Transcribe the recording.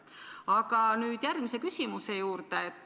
Aga nüüd järgmise küsimuse juurde.